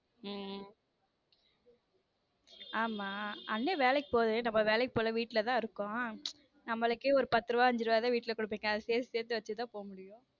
உம் ஆமா அண்ணன் வேலைக்கு போகுது நம்ம வேலைக்கு போகல வீட்லதான் இருக்கோம் நம்மளுக்கே ஒரு பத்து ரூபா அஞ்சு ரூபா தான் வீட்ல குடுப்பாங்க அதே சேர்த்து வச்சு தான் போக முடியும்.